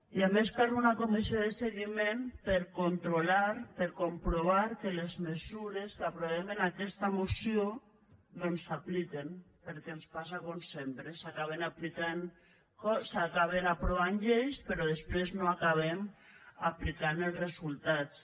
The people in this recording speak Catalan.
i a més cal una comissió de seguiment per controlar per comprovar que les mesures que aprovem en aquesta moció doncs s’apliquen perquè ens passa com sempre s’acaben aprovant lleis però després no acabem aplicant ne els resultats